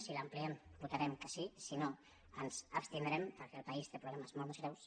si l’ampliem votarem que sí si no ens abstindrem perquè el país té problemes molt més greus